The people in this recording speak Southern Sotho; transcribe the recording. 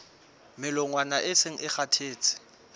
melongwana e seng e kgathetse